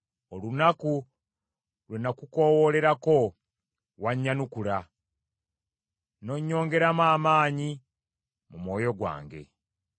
Olunaku lwe nakukoowoolerako wannyanukula; n’onnyongeramu amaanyi mu mwoyo gwange.